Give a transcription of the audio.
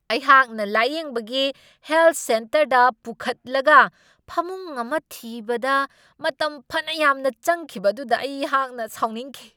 ꯑꯍꯥꯛꯅ ꯂꯥꯢꯌꯦꯡꯕꯒꯤ ꯍꯦꯜꯊ ꯁꯦꯟꯇꯔꯗ ꯄꯨꯈꯠꯂꯒ ꯐꯃꯨꯡ ꯑꯃ ꯊꯤꯕꯗ ꯃꯇꯝ ꯐꯅ ꯌꯥꯝꯅ ꯆꯪꯈꯤꯕ ꯑꯗꯨꯗ ꯑꯩꯍꯥꯛꯅ ꯁꯥꯎꯅꯤꯡꯈꯤ ꯫